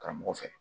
Karamɔgɔ fɛ